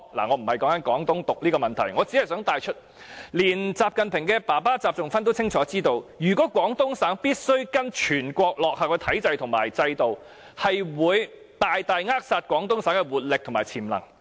"我無意討論"廣東獨"的問題，我只是想帶出，連習近平的父親習仲勳也清楚知道，如果廣東省必須跟隨全國落後的體制和制度，會大大扼殺廣東省的活力和潛能。